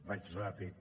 vaig ràpid